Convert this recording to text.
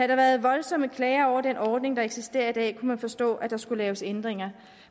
der været voldsomme klager over den ordning der eksisterer i dag kunne man forstå at der skulle laves ændringer